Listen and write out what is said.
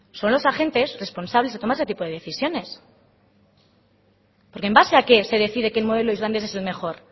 son los agentes responsables de tomar ese tipo de decisiones porque en base a qué se decide que el modelo islandés es el mejor